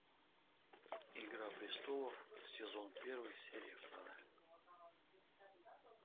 игра престолов сезон первый серия вторая